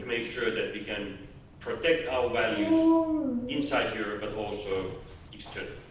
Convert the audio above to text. We have to make sure that we can protect our values inside Europe, but also externally.